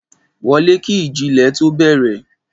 wolè kì iji ilé tó bere